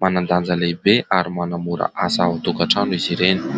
Manan-danja lehibe ary manamora asa ao an-tokantrano izy ireny.